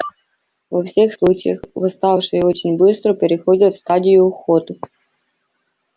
во всех случаях восставшие очень быстро переходят в стадию охоты